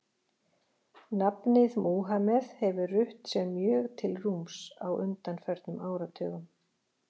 Nafnið Múhameð hefur rutt sér mjög til rúms á undanförnum áratugum.